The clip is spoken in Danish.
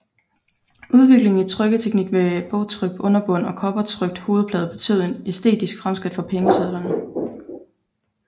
Udviklingen i trykketeknik med bogtrykt underbund og kobbertrykt hovedplade betød et æstetisk fremskridt for pengesedlerne